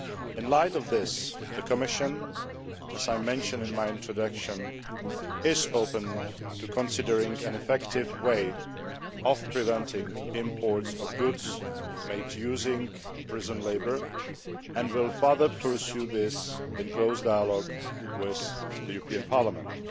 In the light of this, the Commission as I mentioned in my introduction is open to considering an effective way of preventing imports of goods made using prison labour and will further pursue this in close dialogue with the European Parliament.